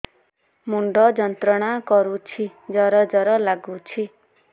ମୁଣ୍ଡ ଯନ୍ତ୍ରଣା କରୁଛି ଜର ଜର ଲାଗୁଛି